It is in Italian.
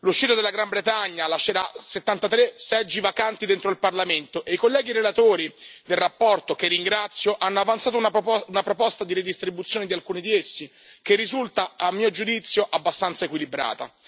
L'uscita della Gran Bretagna lascerà 73 seggi vacanti dentro il Parlamento e i colleghi relatori, che ringrazio, nella relazione hanno avanzato una proposta di redistribuzione di alcuni di essi, che risulta a mio giudizio abbastanza equilibrata.